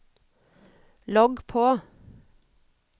logg på